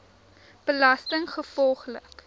belastinggevolglik